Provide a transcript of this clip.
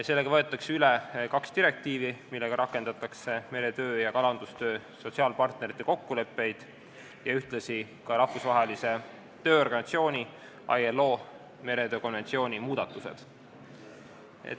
Sellega võetakse üle kaks direktiivi, millega rakendatakse meretöö ja kalandustöö sotsiaalpartnerite kokkulepped ning ühtlasi Rahvusvahelise Tööorganisatsiooni ILO meretöö konventsiooni muudatused.